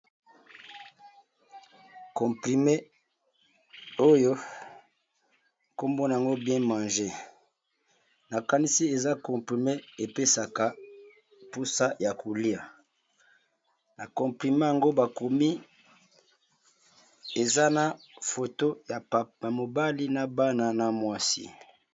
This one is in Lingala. Comprime oyo nkombona yngo bien mange nakanisi eza comprime epesaka mposa ya kolia na comprime yango bakomi eza na foto ya mobali na bana na mwasi.